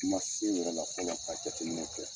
N ma se wɛrɛ la fɔlɔ ka jateminɛ kɛ.